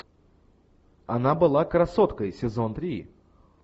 она была красоткой сезон три